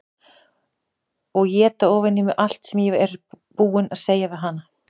Og éta ofan í mig allt sem ég var búin að segja við hana.